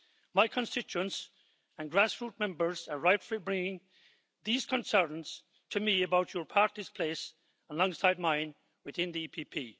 My constituents and grassroot members are rightfully bringing these concerns to me about your party's place alongside mine within the PPE.